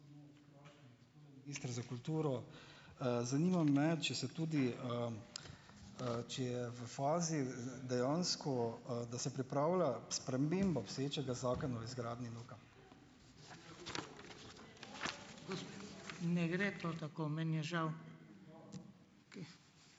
ministra za kulturo? Zanima me, če se tudi, če je v fazi, dejansko, da se pripravlja sprememba obstoječega zakona o razgradnji NUK-a?